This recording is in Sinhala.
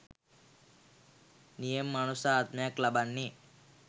නියම මනුස්ස ආත්මයක් ලබන්නේ